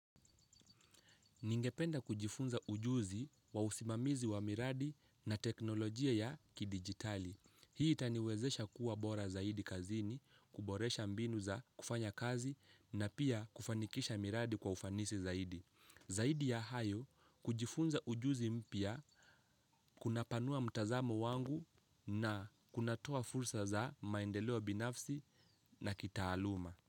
Ningependa kujifunza ujuzi wa usimamizi wa miradi na teknolojia ya kidijitali. Hii itaniwezesha kuwa bora zaidi kazini kuboresha mbinu za kufanya kazi na pia kufanikisha miradi kwa ufanisi zaidi. Zaidi ya hayo kujifunza ujuzi mpya kuna panua mtazamo wangu na kuna toa fursa za maendeleo binafsi na kitaaluma.